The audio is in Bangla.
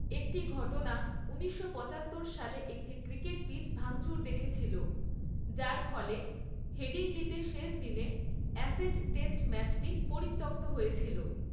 একটি ঘটনা ঊনিশশো পচাত্তর সালে একটি ক্রিকেট পিচ ভাঙচুর দেখেছিল, যার ফলে হেডিংলিতে শেষ দিনে অ্যাশেজ টেস্ট ম্যাচটি পরিত্যক্ত হয়েছিল।